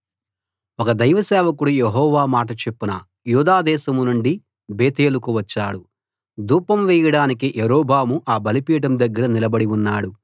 ఒక దైవ సేవకుడు యెహోవా మాట చొప్పున యూదాదేశం నుండి బేతేలుకు వచ్చాడు ధూపం వేయడానికి యరొబాము ఆ బలిపీఠం దగ్గర నిలబడి ఉన్నాడు